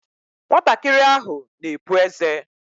Nwatakịrị ahụ na-epu ézé.